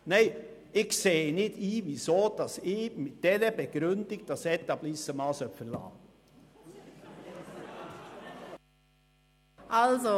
Nein, ich sehe nicht ein, weshalb ich mit dieser Begründung dieses Etablissement verlassen sollte.